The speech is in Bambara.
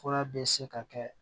Fura bɛ se ka kɛ